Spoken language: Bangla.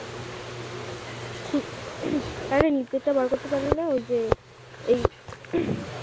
হ্যাঁ রে নিচেরটা বার করতে পারলি না ঐযে এই